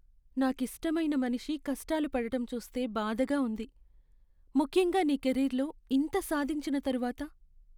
నాకిష్టమైన మనిషి కష్టాలు పడటం చూస్తే బాధగా ఉంది, ముఖ్యంగా నీ కెరీర్లో ఇంత సాధించిన తరువాత.